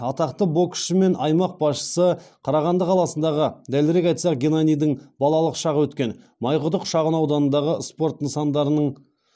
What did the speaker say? атақты боксшы мен аймақ басшысы қарағанды қаласындағы дәлірек айтсақ геннадийдің балалық шағы өткен майқұдық шағынауданындағы